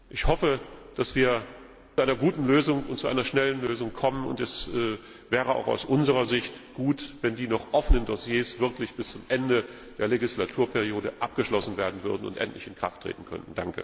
Ich hoffe, dass wir zu einer guten und schnellen Lösung kommen, und es wäre auch aus unserer Sicht gut, wenn die noch offenen Dossiers wirklich bis zum Ende der Legislaturperiode abgeschlossen werden und endlich in Kraft treten könnten.